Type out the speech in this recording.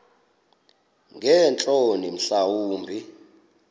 ngeentloni mhla wumbi